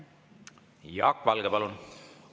Jaak Valge, palun!